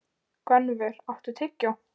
Gunnvör, áttu tyggjó?